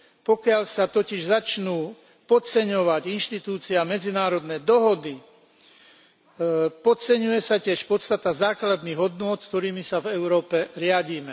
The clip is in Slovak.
Pokiaľ sa totiž začnú podceňovať inštitúcie a medzinárodné dohody, podceňuje sa tiež podstata základných hodnôt, ktorými sa v Európe riadime.